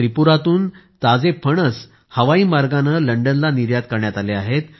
त्रिपुरातून ताजे फणस हवाई मार्गाने लंडनला निर्यात करण्यात आले आहेत